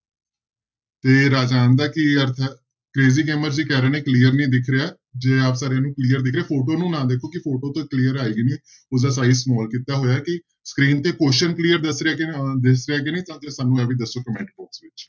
ਤੇ ਰਾਜਾਨ ਦਾ ਕੀ ਅਰਥ ਹੈ ਕਰੇਜੀ ਗੇਮਰ ਜੀ ਕਹਿ ਰਹੇ ਨੇ clear ਨੀ ਦਿਖ ਰਿਹਾ clear ਦਿਖ ਰਿਹਾ photo ਨੂੰ ਨਾ ਦੇਖੋ ਕਿ photo ਤਾਂ clear ਆਏਗੀ ਨੀ, ਉਹਦਾ size small ਕੀਤਾ ਹੋਇਆ ਕਿ screen ਤੇ question clear ਦਿਸ ਰਿਹਾ ਕਿ ਅਹ ਦਿਸ ਰਿਹਾ ਕਿ ਨਹੀਂ ਸਾਨੂੰ ਇਹ ਵੀ ਦੱਸੋ comment box ਵਿੱਚ।